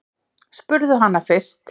Spurðu hana fyrst.